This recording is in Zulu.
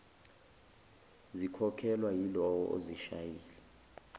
zikhokhelwa yilowo ozishayile